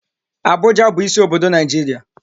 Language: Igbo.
Abuja bụ isi obodo Naijiria